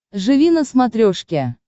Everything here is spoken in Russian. живи на смотрешке